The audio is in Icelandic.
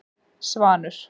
Svanur